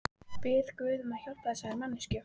Bið guð að hjálpa þessari manneskju.